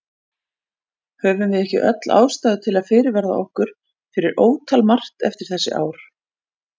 Höfum við ekki öll ástæðu til að fyrirverða okkur fyrir ótal margt eftir þessi ár?